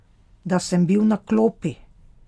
Da sem bil na klopi?